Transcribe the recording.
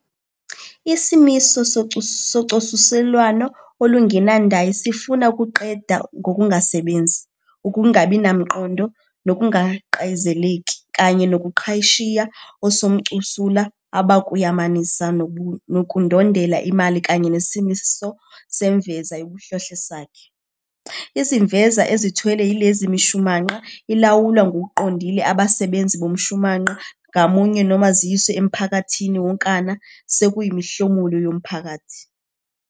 Isimiso socosulelwano olungenandayi sifuna ukuqeda ngokungasebenzi, ukungabi namqondo, nokungaqayizeleki, kanye nobuqhashiya osomcosula abakuyamanisa nokundondela imali kanye nesimiso semveza yobuhlohlesakhe. Izimveza ezithelwa yileyo mishumanqa ilawulwa ngokuqondile abasebenzi bomshumanqa ngamunye noma ziyiswe emphakathini wonkana sekuyimihlomulo yomphakathi.